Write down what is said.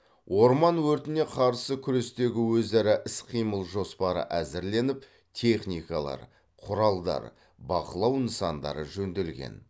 орман өртіне қарсы күрестегі өзара іс қимыл жоспары әзірленіп техникалар құралдар бақылау нысандары жөнделген